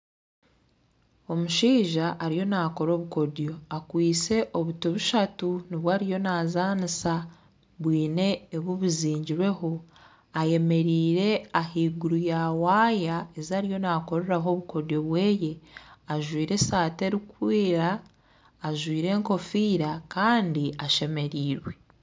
Omushaija ariyo nakora obukodyo akwistye obuti bushatu nibwo ariyo nazaanisa bwine obu buzigirweho ayemereire ahaiguru ya waaya ezariyo nakoreraho obukodyo bweye, ajwaire asaati erikwera, ajwaire ekofiira kandi ashemerirwe.